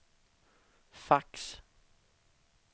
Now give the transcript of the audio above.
fax